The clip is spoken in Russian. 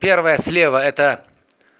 первая слева это